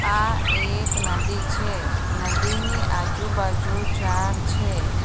આ એક નદી છે નદીની આજુબાજુ ઝાડ છે.